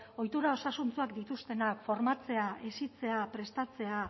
ohitura osasuntsuak dituztenak formatzea hezitzea prestatzea